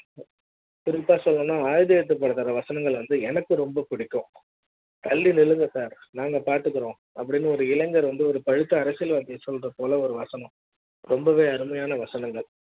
குறிப்பா ஆயுத எழுத்து பட வசனமெல்லாம் எனக்கு ரொம்ப பிடிக்கும் அப்படி ன்னு ஒரு இளைஞர் வந்து ஒரு பழுத்த அரசியல்வாதி சொல்ற போல ஒரு வாசனை ரொம்பவே அருமையான வசனங்கள்